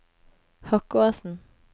Hokkåsen